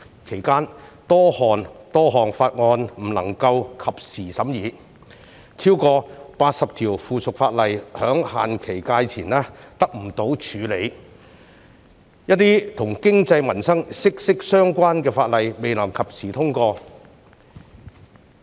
其間多項法案無法及時審議，超過80項附屬法例在限期屆滿前得不到處理，一些跟經濟民生息息相關的法例亦未能及時通過。